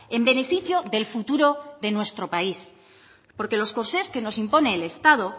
en beneficio del futuro de nuestro país porque los corsés que nos impone el estado